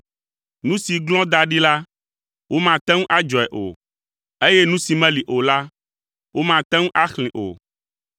Nu si glɔ̃ da ɖi la, womagate ŋu adzɔe o eye nu si meli o la, womate ŋu axlẽe o.